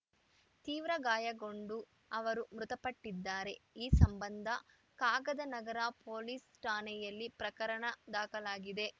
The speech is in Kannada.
ತೀವ್ರ ಗಾಯಗೊಂಡು ಅವರು ಮೃತಪಟ್ಟಿದ್ದಾರೆ ಈ ಸಂಬಂಧ ಕಾಗದನಗರ ಪೊಲೀಸ್‌ ಠಾಣೆಯಲ್ಲಿ ಪ್ರಕರಣ ದಾಖಲಾಗಿದೆ